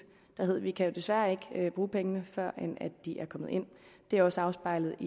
om at vi desværre ikke kan bruge pengene før de er kommet ind det har også afspejlet